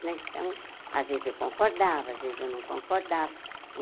Então, às vezes, eu concordava, às vezes, eu não concordava.